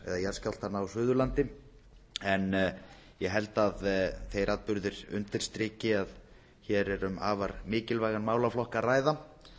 jarðskjálftanna á suðurlandi en ég held að þeir atburðir undirstriki að hér er um afar mikilvægan málaflokk að ræða